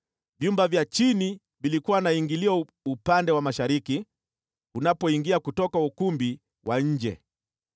Vyumba vya chini vilikuwa na ingilio upande wa mashariki unapoingia kutoka ukumbi wa nje.